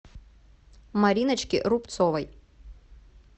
мариночке рубцовой